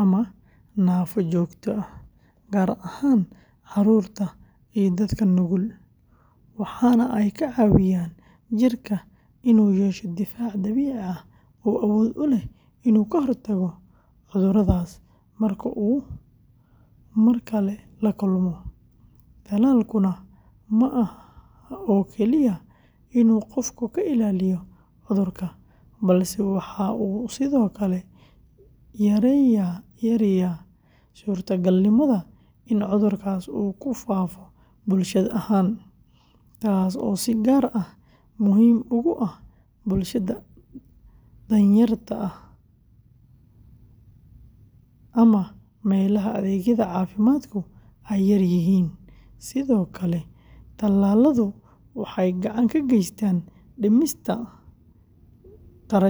ama naafo joogto ah, gaar ahaan carruurta iyo dadka nugul, waxaana ay ka caawiyaan jirka inuu yeesho difaac dabiici ah oo awood u leh inuu ka hortago cudurradaas marka uu mar kale la kulmo, tallaalkuna ma aha oo kaliya inuu qofka ka ilaaliyo cudurka, balse waxa uu sidoo kale yareeyaa suurtagalnimada in cudurkaas uu ku faafo bulsho ahaan, taas oo si gaar ah muhiim ugu ah bulshada danyarta ah ama meelaha adeegyada caafimaadku ay yaryihiin, sidoo kale tallaaladu waxay gacan ka geystaan dhimista kharashka caafimaa.